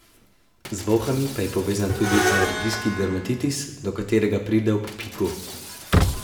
Z bolhami pa je povezan tudi alergijski dermatitis, do katerega pride ob piku.